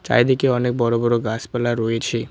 চারিদিকে অনেক বড় বড় গাছপালা রয়েছে।